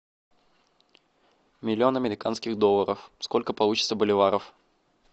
миллион американских долларов сколько получится боливаров